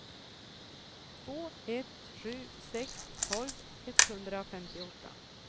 två ett sju sex tolv etthundrafemtioåtta